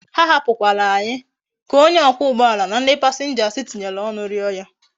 Ha hapu kwara anyi ka onye okwa ugboala na ndi passengers tinyere onu rio ha